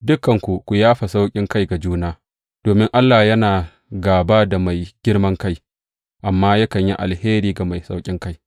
Dukanku, ku yafa sauƙinkai ga juna, domin, Allah yana gāba da mai girman kai, amma yakan yi alheri ga mai sauƙinkai.